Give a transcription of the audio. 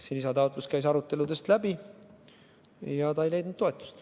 See lisataotlus käis aruteludest läbi, kuid ei leidnud toetust.